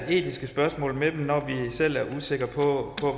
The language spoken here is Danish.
etiske spørgsmål med dem når vi selv er usikre på